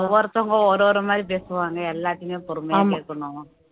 ஒவ்வொருத்தவங்க ஒரு ஒரு மாரி பேசுவாங்க எல்லாத்தையுமே பொறுமையா கேக்கணும்